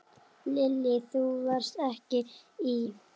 Lillý: Þú varst ekki í?